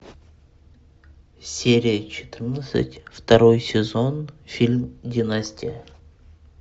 серия четырнадцать второй сезон фильм династия